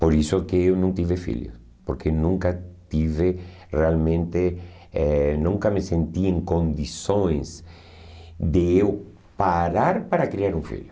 Por isso que eu não tive filho, porque nunca tive realmente, eh nunca me senti em condições de eu parar para criar um filho.